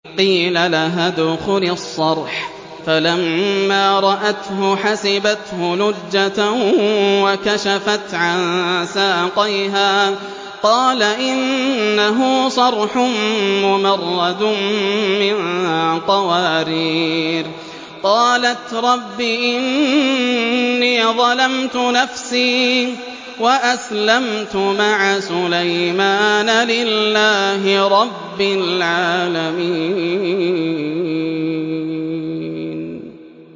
قِيلَ لَهَا ادْخُلِي الصَّرْحَ ۖ فَلَمَّا رَأَتْهُ حَسِبَتْهُ لُجَّةً وَكَشَفَتْ عَن سَاقَيْهَا ۚ قَالَ إِنَّهُ صَرْحٌ مُّمَرَّدٌ مِّن قَوَارِيرَ ۗ قَالَتْ رَبِّ إِنِّي ظَلَمْتُ نَفْسِي وَأَسْلَمْتُ مَعَ سُلَيْمَانَ لِلَّهِ رَبِّ الْعَالَمِينَ